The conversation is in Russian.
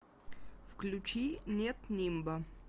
включи нет нимба